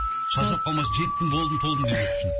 шаршап қалмас жеттім болдым толдым демес үшін